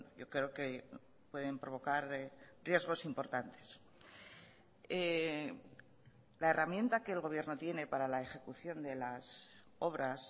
yo creo que pueden provocar riesgos importantes la herramienta que el gobierno tiene para la ejecución de las obras